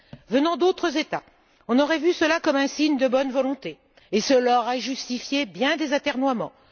Venant d'autres États, on aurait vu cela comme un signe de bonne volonté, et cela aurait justifié bien des atermoiements.